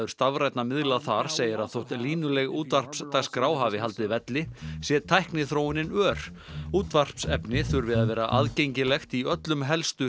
stafrænna miðla þar segir að þótt línuleg útvarpsdagskrá hafi haldið velli sé tækniþróunin ör útvarpsefni þurfi að vera aðgengilegt í öllum helstu